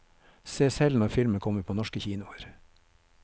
Se selv når filmen kommer på norske kinoer.